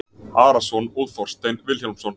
Arason og Þorstein Vilhjálmsson.